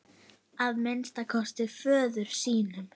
Að minnsta kosti föður sínum.